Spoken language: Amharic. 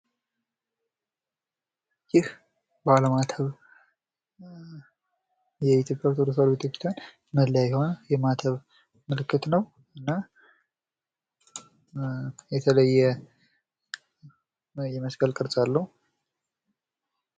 ይህ ባለማተብ የኢትዮጵያ ኦርቶዶክስ ተዋህዶ ቤተ-ክርስቲያን መለያ የሆነ የማተብ ምልክት ነው። እና የተለየ የመስቀል ቅርጽ አለው።